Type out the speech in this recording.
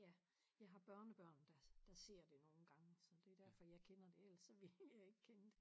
Ja jeg har børnebørn der der ser det nogle nogle gange så det derfor jeg kender det ellers så ville jeg ikke kende det